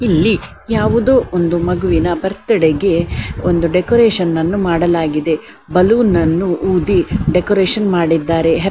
ಇಲ್ಲಿ ಯಾವುದೊ ಒಂದು ಮಗುವಿನ ಬರ್ತ್ಡೇ ಗೆ ಒಂದು ಡೆಕೋರೇಷನ್ ಅನ್ನು ಮಾಡಲಾಗಿದೆ ಬಲೂನ್ ಅನ್ನು ಊದಿ ಡೆಕೋರೇಷನ್ ಮಾಡಿದ್ದಾರೆ-